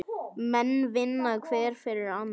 Menn vinna hver fyrir annan.